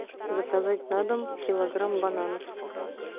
заказать на дом килограмм бананов